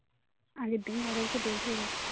আরে বিহারের কে দেখলে